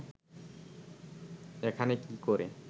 এখানে কি করে